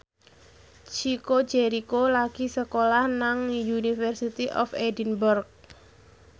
Chico Jericho lagi sekolah nang University of Edinburgh